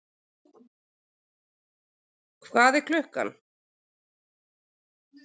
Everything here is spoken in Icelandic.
Hvað er klukkan?